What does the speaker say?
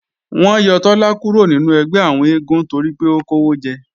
Wọ́n yọ Tọ́lá kúrò nínú ẹgbẹ́ àwọn eégún toripé ó kówó jẹ